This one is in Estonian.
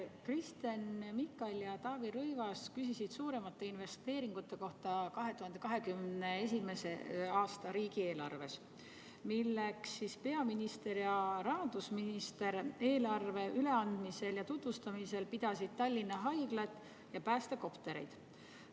Kristen Michal ja Taavi Rõivas küsisid suuremate investeeringute kohta 2021. aasta riigieelarves, milleks peaminister ja rahandusminister eelarve üleandmisel ja tutvustamisel pidasid Tallinna Haiglat ja päästekoptereid.